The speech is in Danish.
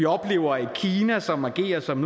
vi oplever et kina som agerer som